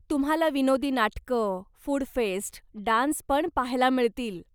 तुम्हाला विनोदी नाटकं, फुड फेस्ट, डान्सपण पाहायला मिळतील.